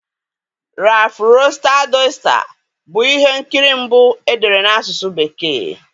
Rafụ Roịsta Doịsta bụ ihe nkiri mbụ e dere n'asụsụ bekee.